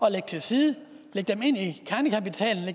at lægge til side lægge